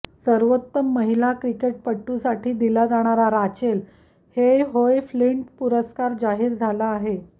सर्वोत्तम महिला क्रिकेटपटूसाठी दिला जाणारा राचेल हेयहोए फ्लिंट पुरस्कार जाहीर झाला आहे